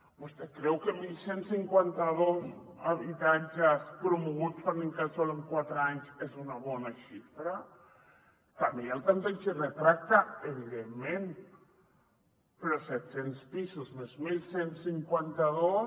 vostè creu que onze cinquanta dos habitatges promoguts per l’incasòl en quatre anys és una bona xifra també hi ha el tanteig i retracte evidentment però set cents pisos més onze cinquanta dos